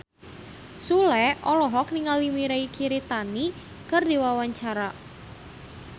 Sule olohok ningali Mirei Kiritani keur diwawancara